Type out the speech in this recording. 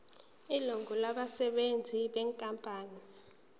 ilungu labasebenzi benkampani